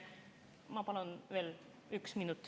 Ma palun veel ühe minuti.